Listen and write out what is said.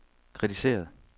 kritiseret